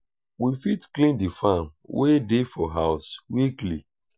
we fit clean di fan wey dey for house weekly